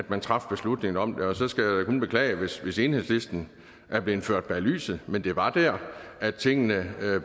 man traf beslutningen om det og så skal jeg da kun beklage hvis hvis enhedslisten er blevet ført bag lyset men det var der at tingene